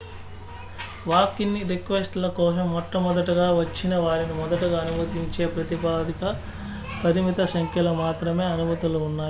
walk-in రిక్వెస్ట్ల కోసం మొట్ట మొదటగా వచ్చిన వారిని మొదటగా అనుమతించే ప్రాతిపదికన పరిమిత సంఖ్యలో మాత్రమే అనుమతులు ఉన్నాయి